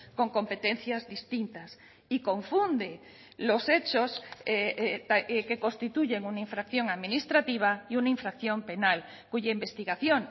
con competencias distintas y confunde los hechos que constituyen una infracción administrativa y una infracción penal cuya investigación